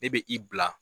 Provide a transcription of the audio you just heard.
Ne bɛ i bila